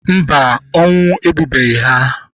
Mba, ọnwụ egbubeghị ha?